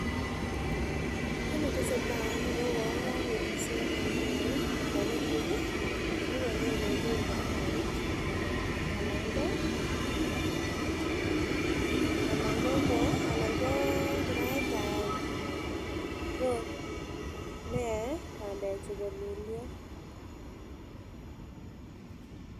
Kit nesetai en yuu ko uwon kopit nisome neo anan nekim Ii nekonyon kolul pandek chuu anan ko alan ko alan ko kiraitab neyoe pandechu kololyo.